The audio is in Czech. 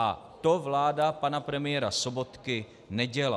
A to vláda pana premiéra Sobotky nedělá.